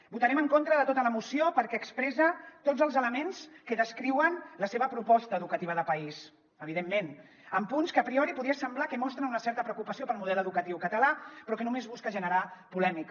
votarem en contra de tota la moció perquè expressa tots els elements que descri·uen la seva proposta educativa de país evidentment amb punts que a priori podria semblar que mostren una certa preocupació pel model educatiu català però que no·més busca generar polèmica